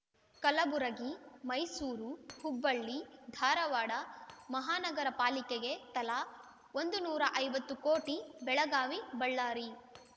ಕಲಬುರಗಿ ಮೈಸೂರು ಹುಬ್ಬಳ್ಳಿ ಧಾರವಾಡ ಮಹಾನಗರ ಪಾಲಿಕೆಗೆ ತಲಾ ಒಂದು ನೂರ ಐವತ್ತು ಕೋಟಿ ಬೆಳಗಾವಿ ಬಳ್ಳಾರಿ